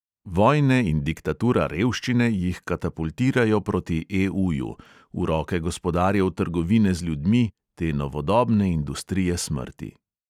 Vojne in diktatura revščine jih katapultirajo proti EUju, v roke gospodarjev trgovine z ljudmi, te novodobne industrije smrti.